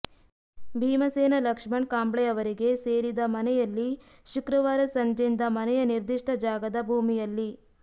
ಭೀಮಸೇನ ಲಕ್ಷ್ಮಣ್ ಕಾಂಬ್ಳೆ ಅವರಿಗೆ ಸೇರಿದ ಮನೆಯಲ್ಲಿ ಶುಕ್ರವಾರ ಸಂಜೆಯಿಂದ ಮನೆಯ ನಿರ್ದಿಷ್ಟ ಜಾಗದ ಭೂಮಿಯಲ್ಲಿ